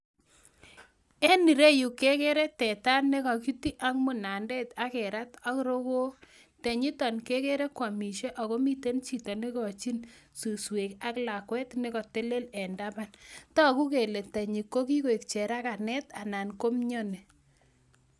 En ireyu kegere teta nekakirat en munandet ak rokook, tenyitoon kegere koamisie ak miten chito neikochin suswek, ak lakwet nekotelel en tabaan. Togu kele tenyiiko kiik cheraganet, anan ko mioni,